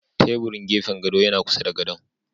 Teburun gefen godo yana kusa da godon.